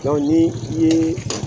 Dɔnku ni i ye